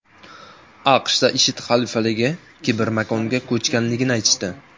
AQShda IShID xalifaligi kibermakonga ko‘chganligini aytishdi.